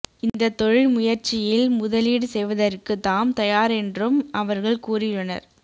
இந்த தொழில் முயற்சியில் முதலீடு செய்வதற்கு தாம் தயாரென்றும் அவர்கள் கூறியுள்ளனர்